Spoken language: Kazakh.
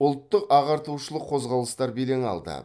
ұлттық ағартушылық қозғалыстар белең алды